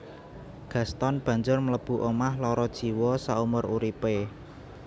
Gaston banjur mlebu omah lara jiwa saumur uripé